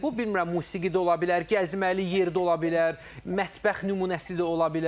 Bu bilmirəm, musiqi də ola bilər, gəzməli yer də ola bilər, mətbəx nümunəsi də ola bilər.